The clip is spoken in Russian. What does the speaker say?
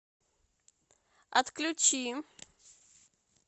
отключи